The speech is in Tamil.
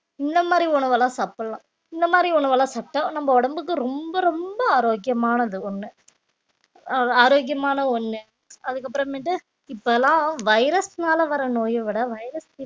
இந்த மாதிரி உணவெல்லாம் சாப்பிடலாம் இந்த மாதிரி உணவெல்லாம் சாப்பிட்டா நம்ம உடம்புக்கு ரொம்ப ரொம்ப ஆரோக்கியமானது ஒண்ணு அஹ் ஆரோக்கியமான ஒண்ணு அதுக்கப்புறமேட்டு இப்ப எல்லாம் virus னால வர நோய விட virus